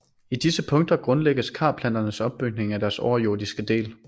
I disse punkter grundlægges karplanternes opbygning af deres overjordiske del